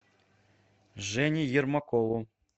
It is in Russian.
жене ермакову